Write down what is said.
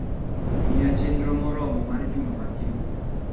Miyo chenro moromo mar juma ma kiny